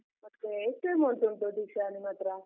ಮತ್ತೆ ಎಷ್ಟು amount ಉಂಟು ದೀಕ್ಷಾ ನಿಮ್ಮತ್ರ?